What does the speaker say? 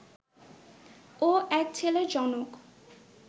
ও এক ছেলের জনক